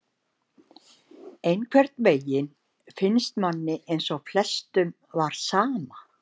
Einhvern veginn finnst manni eins og flestum var sama,